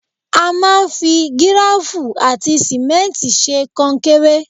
A máa ń fi gíráfù àti símẹ́ntì ṣe kankéré.